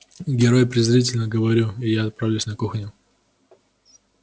герой презрительно говорю я и отправляюсь на кухню